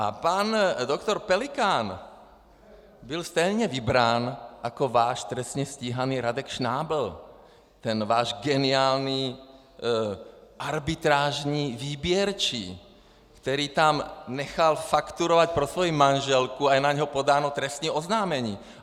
A pan doktor Pelikán byl stejně vybrán jako váš trestně stíhaný Radek Šnábl, ten váš geniální arbitrážní výběrčí, který tam nechal fakturovat pro svoji manželku a je na něho podáno trestní oznámení.